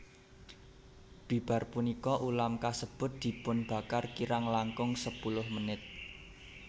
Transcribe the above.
Bibar punika ulam kasebut dipunbakar kirang langkung sepuluh menit